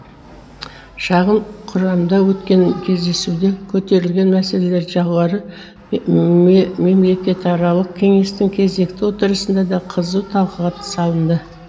шағын құрамда өткен кездесуде көтерілген мәселелер жоғары мемлекетаралық кеңестің кезекті отырысында да қызу талқыға салынды